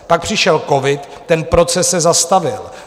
Pak přišel covid, ten proces se zastavil.